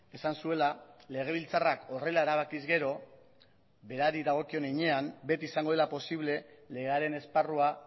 esan zuela legebiltzarrak horrela erabakiz gero berari dagokion heinean beti izango dela posible legearen esparrua